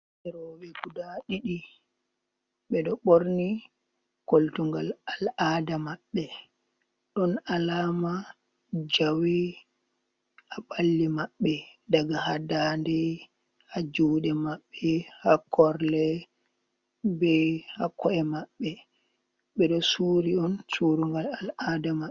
Ɓikkon roɓe guda ɗiɗi ɓeɗo ɓorni koltugal al'ada maɓɓe. Ɗon alama jawe haa ɓalli maɓɓe; daga ha daande, ha juɗe maɓɓe, ha korle be ha ko’e maɓɓe, ɓeɗo suri on curugal al'ada may.